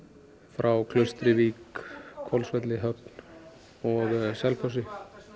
frá Klaustri Vík Höfn og Selfossi